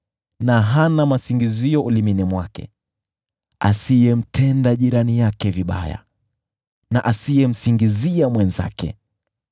na hana masingizio ulimini mwake, asiyemtenda jirani yake vibaya, na asiyemsingizia mwenzake,